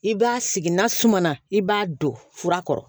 I b'a sigi n'a suma na i b'a don fura kɔrɔ